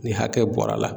Ni hakɛ bɔra la